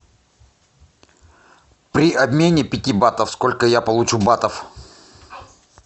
при обмене пяти батов сколько я получу батов